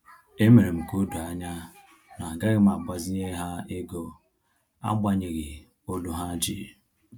E mere m ka odo anya na agaghị m agbazinye ha ego, agbanyeghi olu ha ji